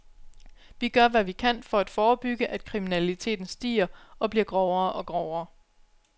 Vi gør hvad vi kan for at forebygge, at kriminaliteten stiger og bliver grovere og grovere.